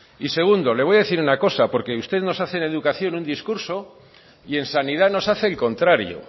y segundo le voy a decir una cosa porque usted no hace en educación un discurso y en sanidad nos hace el contrario